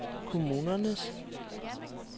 kommunernes